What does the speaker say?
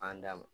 An da ma